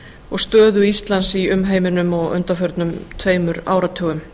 og stöðu íslands í umheiminum á undanförnum tveimur áratugum